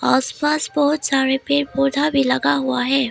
आसपास बहुत सारे पेड़ पौधा भी लगा हुआ है।